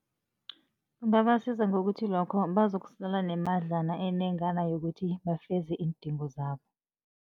Kungabasiza ngokuthi lokho bazokusala nemadlana enengana yokuthi bafeze iindingo zabo.